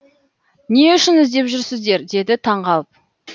не үшін іздеп жүрсіздер деді таңғалып